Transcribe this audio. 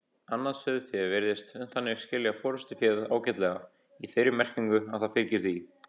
Annað sauðfé virðist þannig skilja forystuféð ágætlega, í þeirri merkingu að það fylgir því.